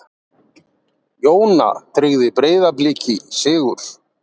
Jóna tryggði Breiðabliki sigur